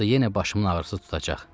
Yoxsa yenə başımın ağrısı tutacaq.